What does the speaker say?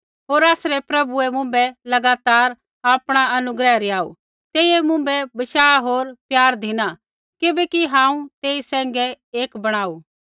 होर आसरै प्रभुऐ मुँभै लगातार आपणा अनुग्रह रिहाऊ तेइयै मुँभै बशाह होर प्यार धिना किबैकि हांऊँ तेई सैंघै एक बणाऊ